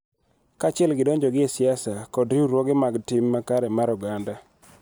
Kaachiel gi donjogi e siasa kod riwruoge mag tim makare mar oganda.